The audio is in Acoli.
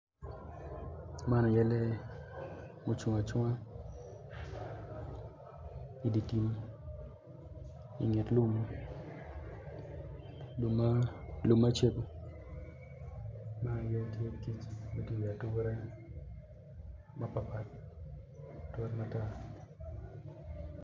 Man aye lee ma ocung acunga idi tim inget lum lum ma cego ma aye tye kic ma tye i ature ocung iwi ature mapat pat ature matar.